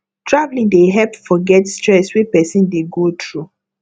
travelling dey help forget stress wey person dey go through